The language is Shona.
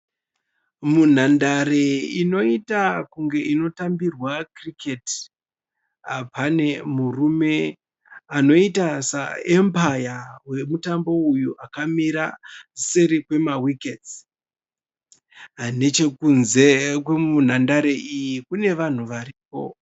Munhandare inoita kunge inotambirwa cricket . Pane murume anoita saEmpire wemutambo uyu akamisa seri kwema wickets. Nechekunze kwe nhandare iyi kune vanhu variko.